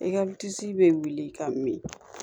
E ka bɛ wuli ka min